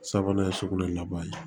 Sabanan ye sugunɛ laban ye